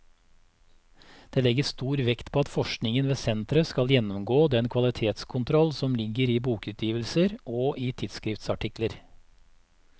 Dette legges stor vekt på at forskningen ved senteret skal gjennomgå den kvalitetskontroll som ligger i bokutgivelser og i tidsskriftsartikler.